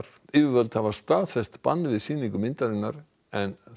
yfirvöld hafa staðfest bann við sýningu myndarinnar en